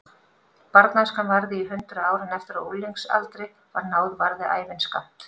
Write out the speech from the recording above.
Barnæskan varði í hundrað ár en eftir að unglingsaldri var náð varði ævin skammt.